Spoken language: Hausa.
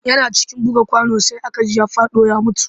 Yana cikin buga kwano sai aka ji ya faɗo ya mutu